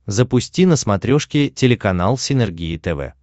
запусти на смотрешке телеканал синергия тв